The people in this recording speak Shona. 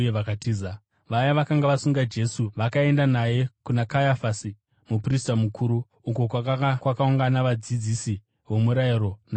Vaya vakanga vasunga Jesu vakaenda naye kuna Kayafasi, muprista mukuru, uko kwakanga kwakaungana vadzidzisi vomurayiro navamwe vakuru.